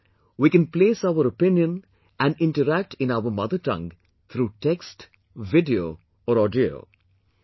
In this we can place our opinion and interact in our mother tongue through text, video or audio